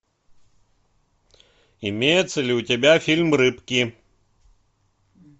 имеется ли у тебя фильм рыбки